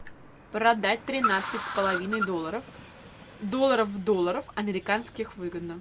продать тринадцать с половиной долларов долларов долларов американских выгодно